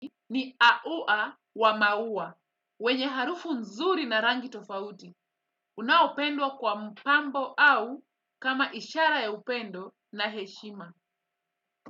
Ni aua wa maua, wenye harufu nzuri na rangi tofauti. Unaupendwa kwa mpambo au kama ishara ya upendo na heshima.